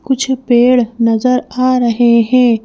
कुछ पेड़ नजर आ रहे हैं।